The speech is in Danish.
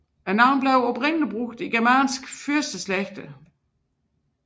Navnet blev oprindelig brugt i germanske fyrsteslægter